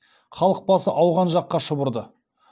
халық басы ауған жаққа шұбырды